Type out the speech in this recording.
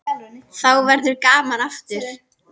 Þá verður gaman aftur.